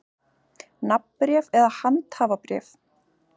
Nafnbréf eða handhafabréf.